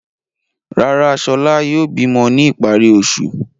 Rárá, Ṣọlá yóò bímọ ní ìparí oṣù.